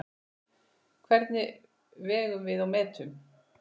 Hvernig vegum við og metum?